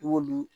I b'olu